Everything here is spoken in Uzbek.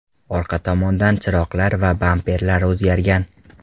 Orqa tomondan chiroqlar va bamperlar o‘zgargan.